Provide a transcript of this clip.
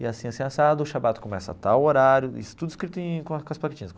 E assim assim assado o Shabbat começa a tal horário, isso tudo escrito em com com as plaquetinhas.